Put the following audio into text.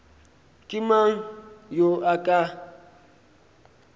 ke mang yo a ka